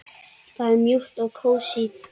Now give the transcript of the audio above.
Það er mjúkt og kósí.